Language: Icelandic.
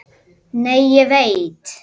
Nei, ég veit.